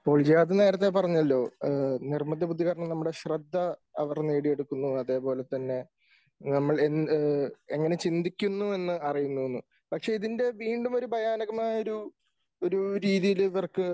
ജിയാദ് നേരത്തെ പറഞ്ഞല്ലോ നിർബന്ധ ബുദ്ധി കാരണം നമ്മുടെ ശ്രദ്ധ അവർ നേടിയെടുക്കുന്നു അതേപോലെ തന്നെ നമ്മൾ എങ്ങനെ ചിന്തിക്കുന്നു എന്ന് അറിയുന്നു എന്ന് പക്ഷെ ഇതിന്റെ വീണ്ടും ഒരു ഭയാനകമായ ഒരു ഒരു രീതിയിൽ ഇവർക്ക്